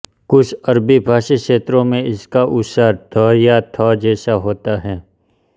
कुछ अरबीभाषी क्षेत्रों में इसका उच्चारण ध या थ़ जैसा होता है